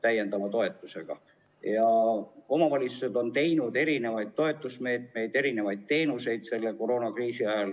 Omavalitsused on koroonakriisi ajal rakendanud erisuguseid toetusmeetmeid, pakkunud erisuguseid teenuseid.